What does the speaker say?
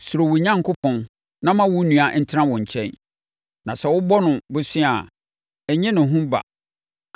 Suro wo Onyankopɔn na ma wo nua ntena wo nkyɛn; na sɛ wobɔ no bosea a, nnye no ho ba.